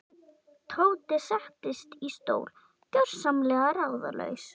Tóti settist í stól, gjörsamlega ráðalaus.